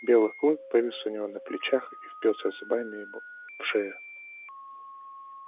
белый клык повис у него на плечах и впился зубами ему в шею